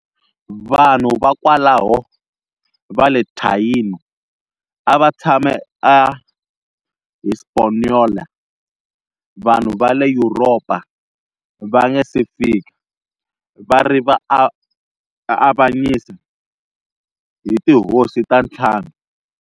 Vanhu va kwalaho va le Taíno a va tshame eHispaniola vanhu va le Yuropa va nga si fika, va ri avanyisa hi tihosi ta ntlhanu.